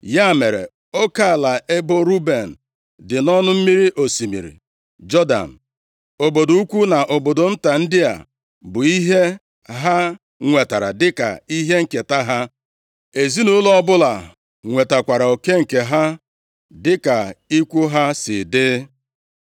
Ya mere, oke ala ebo Ruben dị nʼọnụ mmiri osimiri Jọdan. Obodo ukwu na obodo nta ndị a bụ ihe ha nwetara dịka ihe nketa ha. Ezinaụlọ ọbụla nwetakwara oke nke ha dịka ikwu ha si dị.